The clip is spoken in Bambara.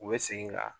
U bɛ segin ka